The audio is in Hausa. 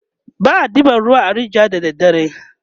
ba a ɗeban ruwa a rijiya da dare